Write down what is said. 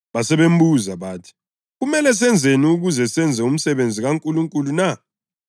Basebembuza bathi, “Kumele senzeni ukuze senze umsebenzi kaNkulunkulu na?”